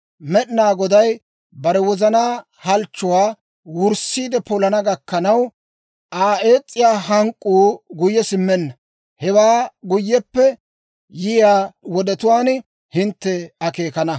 Med'inaa Goday bare wozanaa halchchuwaa wurssiide polana gakkanaw, Aa ees's'iyaa hank'k'uu guyye simmenna. Hewaa guyyeppe yiyaa wodetuwaan hintte akeekana.